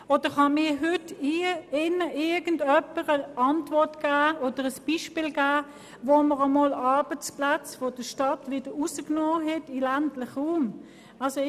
Oder kann mir hier im Saal jemand ein Beispiel dafür aufzeigen, dass Arbeitsplätze aus der Stadt in den ländlichen Raum verlegt wurden?